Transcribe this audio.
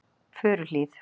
Furuhlíð